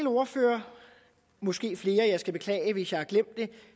ordfører måske flere og jeg skal beklage hvis jeg har glemt det